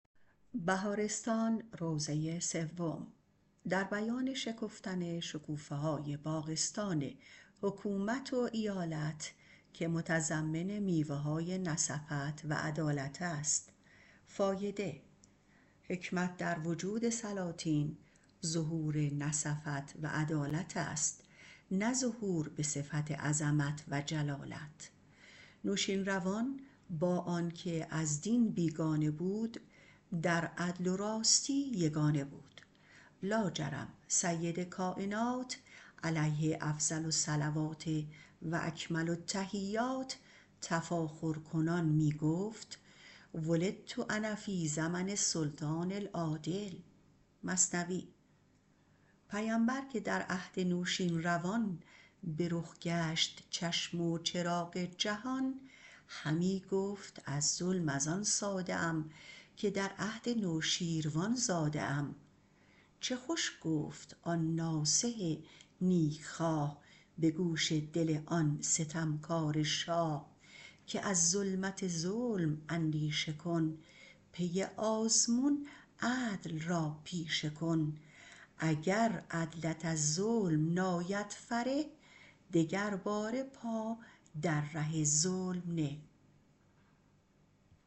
حکمت در وجود سلاطین ظهور نصفت و عدالت است نه ظهور به صفت عظمت و جلالت نوشیروان با آنکه از دین بیگانه بود در عدل و راستی یگانه بود لاجرم سرور کاینات - علیه افضل الصلوات - تفاخر کنان می گفت ولدت انا فی زمن السلطان العادل پیمبر که در عهد نوشیروان به رخ گشت چشم و چراغ جهان همی گفت از ظلم ازان ساده ام که در عهد نوشیروان زاده ام چه خوش گفت آن ناصح نیکخواه به گوش دل آن ستمکاره شاه که از ظلمت ظلم اندیشه کن پی آزمون عدل را پیشه کن اگر عدلت از ظلم ناید فره دگر باره پا در ره ظلم نه